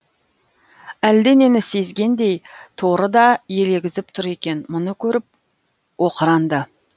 әлденені сезгендей торы да елегізіп тұр екен мұны көріп оқыранды